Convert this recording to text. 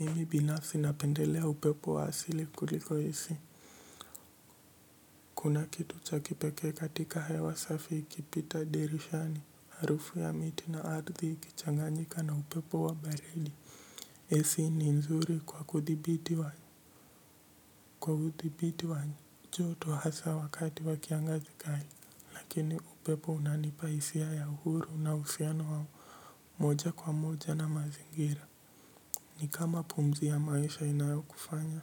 Mimi binafsi napendelea upepo wa asili kuliko AC kuna kitu cha kipekee katika hewa safi ikipita dirishani harufu ya miti na ardhi ikichanganyika na upepo wa baridi ac ni nzuri kwa kudhibiti wa kwa udhibiti joto hasa wakati wa kiangazi kali lakini upepo unanipa hisia ya uhuru na uhsiano wa moja kwa moja na mazingira ni kama pumzi ya maisha inayo kufanya